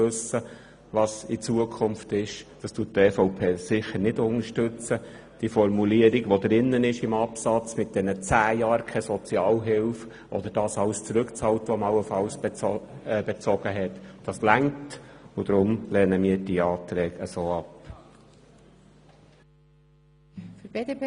Die in Absatz 1 enthaltene Formulierung mit den zehn Jahren keine Sozialhilfe beziehungsweise bezogene Sozialhilfe zurückzahlen zu müssen, ist ausreichend.